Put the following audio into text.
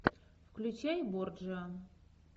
включай борджиа